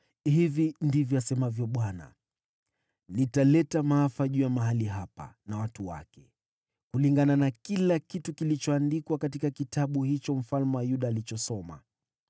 ‘Hivi ndivyo asemavyo Bwana : Nitaleta maafa juu ya mahali hapa na watu wake, kulingana na kila kitu kilichoandikwa katika kitabu hicho mfalme wa Yuda alichosoma.